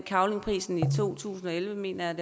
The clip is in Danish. cavlingprisen i to tusind og elleve mener